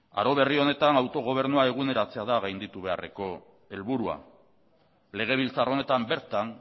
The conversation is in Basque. aro berri honetan autogobernua eguneratzea da gainditu beharreko helburua legebiltzar honetan bertan